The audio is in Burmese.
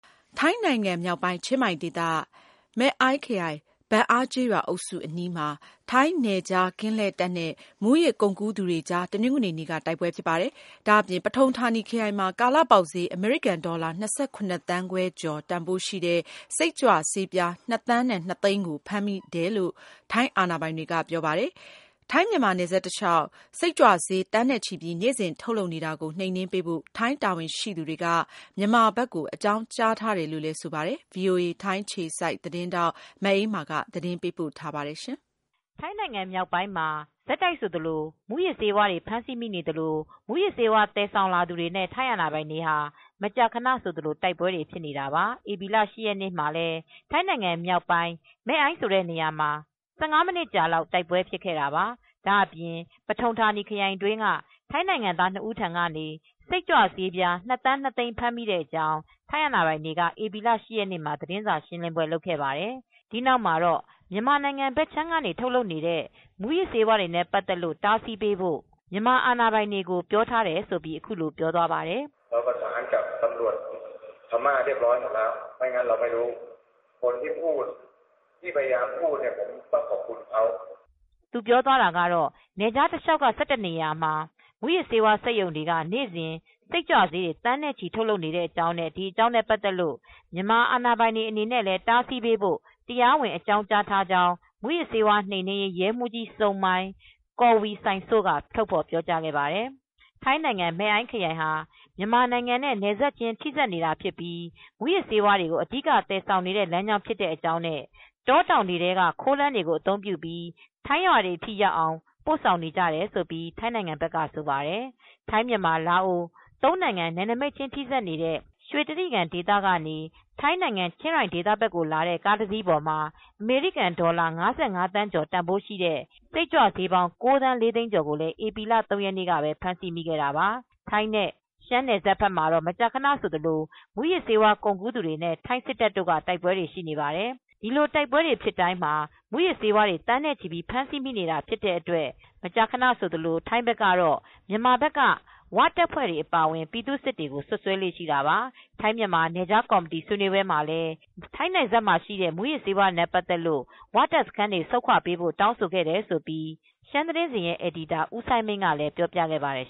ထိုင်းနိုင်ငံမြောက်ပိုင်း၊ ချင်းမိုင်ဒေသ၊ မဲ့အိုင်းခရိုင်၊ ဘန်အာကျေးရွာအုပ်စုအနီးမှာ ထိုင်း နယ်ခြားကင်းလှည့်တပ်နဲ့ မူးယစ်ကုန်ကူး သူတွေအကြား တနင်္ဂနွေနေ့က တိုက်ပွဲဖြစ်ပါတယ်။ ဒါ့အပြင် ပထုံဌာနီခရိုင်မှာ ကာလပေါက်ဈေး အမေရိကန်ဒေါ်လာ ၂၇ သန်းခွဲ ကျော် တန်ဖိုးရှိတဲ့ စိတ်ကြွဆေးပြား ၂ သန်း ၂ သိန်းကို ဖမ်းမိတယ်လို့ ထိုင်းအာဏာပိုင်တွေက ပြောပါတယ်။ ထိုင်း-မြန်မာ နယ်စပ်တလျှောက် စိတ်ကြွဆွေး သန်းနဲ့ချီပြီး နေ့စဉ်ထုတ်လုပ်နေတာကို နှိမ်နင်းပေးဖို့ ထိုင်းတာဝန်ရှိသူတွေက မြန်မာဘက်ကို အကြောင်းကြားထားတယ်လို့လည်း ဆိုပါတယ်။ ထိုင်းအခြေစိုက် voa သတင်းထောက် မအေးအေးမာက တင်ပြထားပါတယ်။ ထိုင်းနိုင်ငံမြောက်ပိုင်းမှာ ဆက်တိုက်ဆိုသလို မူးယစ်ဆေးဝါးဖမ်းဆီးမိနေပြီး မူးယစ်ဆေးဝါးသယ်ဆောင်လာသူတွေနဲ့ ထိုင်းအာဏာပိုင်တွေဟာ မကြာခနဆိုသလို တိုက်ပွဲတွေဖြစ်နေတာပါ။ ဧပြီလ ၈ရက်နေ့မှာလည်း ထိုင်းနိုင်ငံမြောက်ပိုင်း မဲ့အိုင်းဆိုတဲ့နေရာမှာ ၁၅မိနစ်ကြာလောက် တိုက်ပွဲခဲ့တာပါ။ ဒါ့အပြင် ပထုံဌာနီခရိုင်တွင်းက ထိုင်းနိုင်ငံသား၂ဦးထံကနေ စိတ်ကြွဆေး ၂သန်း၂သိန်းဖမ်းမိကြောင်း ထိုင်းရဲအာဏပိုင်တွေကတော့ ဧပြီလ ၈ရက်နေ့မှာ သတင်းစာရှင်းလင်းပွဲလုပ်ခဲ့တာပါ။ ဒီနောက်မှာတော့ မြန်မာနိုင်ငံဘက်ခြမ်းကနေ ထုတ်လုပ်နေတဲ့ မူးယစ်ဆေးဝါးတွေနဲ့ ပတ်သက်လို့ တားဆီးပေးဖို့မြန်မာအာဏာပိုင်တွေကိုပြောထားတယ်လို့ အခုလိုပြောသွားပါတယ်။ သူပြောသွားတာကတော့ နယ်ခြားတလျောက်က ၁၁နေရာမှာ မူးယစ်ဆေးဝါးစက်ရုံတွေက နေစဉ် စိတ်ကြွဆေးတွေ သန်းနဲ့ချီ ထုတ်လုပ်နေတဲ့ အကြောင်းနဲ့ ပတ်သက်လို့ မြန်မာအာဏာပိုင်တွေအနေနဲ့ လည်း တားဆီးပေးဖို့ တရားဝင်အကြောင်းကြားထားကြောင်း မူးယစ်ဆေးဝါးနှိမ်နင်းရေး ရဲမှူးကြီးစုံမိုင် ကောင်ဝိဆိုင်စို့က ထုတ်ဖော်ပြောကြားခဲ့တာပါ။ ထိုင်းနိုင်ငံ မဲ့အိုင်ခရိုင်ဟာ မြန်မာနိုင်ငံနဲ့နယ်စပ်ချင်းထိစပ်နေတာဖြစ်ပြီး မူးယစ်ဆေးဝါးတွေကိုအဓိကသယ်ဆောင်နေတဲ့ လမ်းကြောင်းဖြစ်တဲ့အကြောင်းနဲ့ တောတောင်တွေ ထဲက ခိုးလမ်းတွေကို အသုံးပြုပြီး ထိုင်းရွာတွေအထိရောက်အောင် ပို့နေကြတယ်လို့ထိုင်းနိုင်ငံဘက်ကဆိုပါတယ်။ ထိုင်း-မြန်မာ-လာအို သုံးနိုင်ငံ နယ်နမိတ်ချင်း ထိစပ်နေတဲ့ ရွှေတြိဂံ ဒေသကနေ ထိုင်းနိုင်ငံ-ချင်းရိုင်ဒေသ ဘက်ကိုလာတဲ့ ကားတစီးပေါ်မှာ အမေရိကန်ဒေါ်လာ ၅၅သန်း ကျော်တန်ဖိုးရှိတဲ့စိတ်ကြွဆေးပေါင်း ၉သန်း ၄သိန်းကျော်ကို ဧပြီလ ၃ရက်နေ့ကပဲ ဖမ်းဆီးမိခဲ့တာပါ ထိုင်း နဲ့ ရှမ်းပြည်နယ်စပ်ဘက်မှာတော့ မကြာခနဆိုသလို မူးယစ်ဆေးဝါး ကုန်ကူးသူတွေနဲ့ ထိုင်းစစ်တပ်တို့ တိုက်ပွဲတွေရှိနေတာပါ။ ဒီလို တိုက်ပွဲတွေဖြစ်ပြီး ထိုင်းမူးယစ်ဆေးဝါးတွေ သန်းနဲ့ချီပြီး ဖမ်းဆီးမိနေတာ တွေရှိတဲ့အတွက် မကြာခနဆိုသလို ထိုင်းဘက်ကတော့ မြန်မာဘက်က ဝတပ်ဖွဲ့ အပါအဝင်ပြည်သူစစ်တွေကိုစွပ်စွဲလေ့ရှိတာပါ။ ထိုင်းမြန်မာ နယ်စပ်ကော်မတီဆွေးနွေးပွဲတွေမှာလည်း ထိုင်းနယ်စပ်မှာရှိတဲ့ မူးယစ်ဆေးဝါးနဲ့ ပတ်သက်တဲ့ ဝတပ်စခန်းတွေကို ဆုတ်ခွါ ပေးဖို့ တောင်းဆိုခဲ့တယ်လို့ ရှမ်းသတင်းစဉ်ရဲ့အယ်ဒီတာဦးစိုင်းမိန်းကလည်းပြောပြခဲ့ပါတယ်